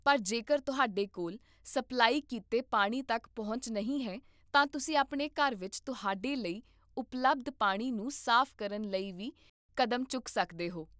ਪਰ ਜੇਕਰ ਤੁਹਾਡੇ ਕੋਲ ਸਪਲਾਈ ਕੀਤੇ ਪਾਣੀ ਤੱਕ ਪਹੁੰਚ ਨਹੀਂ ਹੈ, ਤਾਂ ਤੁਸੀਂ ਆਪਣੇ ਘਰ ਵਿੱਚ ਤੁਹਾਡੇ ਲਈ ਉਪਲਬਧ ਪਾਣੀ ਨੂੰ ਸਾਫ਼ ਕਰਨ ਲਈ ਵੀ ਕਦਮ ਚੁੱਕ ਸਕਦੇ ਹੋ